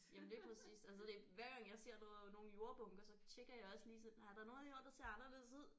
Jamen lige præcis altså det hver gang jeg ser noget nogle jordbunker så tjekker jeg også lige sådan er der noget her der ser anderledes ud